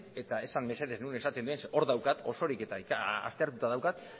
eta esan mesedez non esaten den zeren hor daukat osorik eta aztertuta daukat